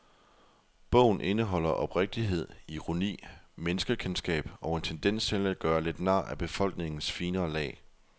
Bogen indeholder oprigtighed, ironi, menneskekendskab og en tendens til at gøre lidt nar af befolkningens finere lag.